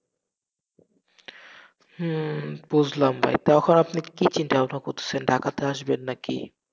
হম বুঝলাম তো এখন আপনি কি চিন্তা ভাবনা করতেসেন, ঢাকাতে আসবেন নাকি?